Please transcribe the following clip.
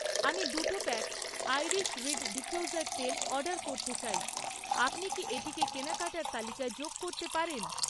আমি দুটো pack iris reed diffuser তেল অর্ডার করতে চাই, আপনি কি এটিকে কেনাকাটার তালিকায় যোগ করতে পারেন?